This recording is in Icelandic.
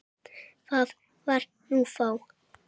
Það var nú þá.